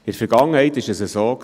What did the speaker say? In Vergangenheit war es so: